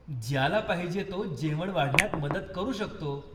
ज्याला पाहिजे तो जेवण वाढण्यात मदत करू शकतो.